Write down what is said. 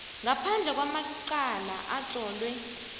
ngaphandle kwamacala atlolwe